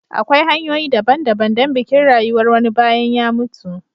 Akwai hanyoyi daban-daban don bikin rayuwar wani bayan ya mutu.